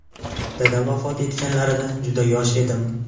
Dadam vafot etganlarida juda yosh edim.